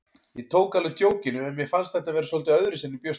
Ég tók alveg djókinu en mér fannst þetta vera svolítið öðruvísi en ég bjóst við.